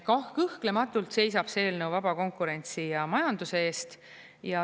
Kõhklematult seisab see eelnõu vaba konkurentsi ja majanduse eest.